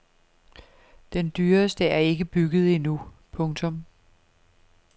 Den dyreste er ikke bygget endnu. punktum